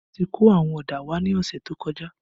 A ti kó àwọn ọ̀dà wá ní ọ̀sẹ̀ tó kọjá